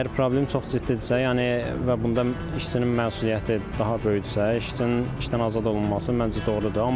Əgər problem çox ciddidirsə, yəni və bunda işçinin məsuliyyəti daha böyükdürsə, işçinin işdən azad olunması məncə doğrudur.